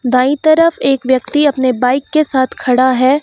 दाईं तरफ एक व्यक्ति अपने बाइक के साथ खड़ा है।